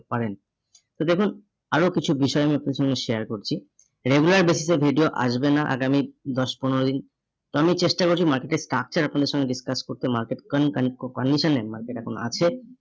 পারেন। তো দেখুন আরো কিছু বিষয় আমি আপনাদের সঙ্গে share করছি, regular basis এ video আসবে না, আগামী দশ পনেরো দিন। তো আমি চেষ্টা করছি market এ structure আপনাদের সঙ্গে discuss করতে market con conko condition এ market এখন আছে